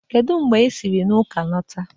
Kedu mgbe i siri na ụka lọta?